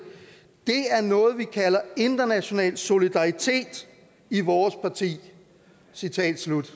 er noget vi kalder international solidaritet i vores parti citat slut